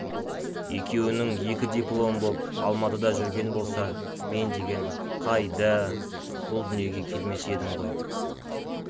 екеуінің екі дипломы боп алматыда жүрген болса мен деген қайда-а-а бұл дүниеге келмес едім ғой